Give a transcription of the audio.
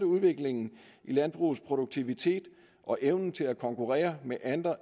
udviklingen i landbrugets produktivitet og evnen til at konkurrere med